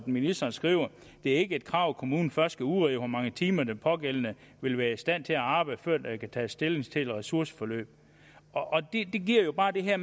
ministeren skriver det er ikke et krav at kommunen først skal udrede hvor mange timer den pågældende vil være i stand til at arbejde før der kan tages stilling til et ressourceforløb det giver jo bare den her